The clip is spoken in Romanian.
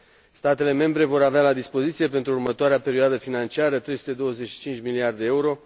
Statele membre vor avea la dispoziție pentru următoarea perioadă financiară 325 de miliarde de euro.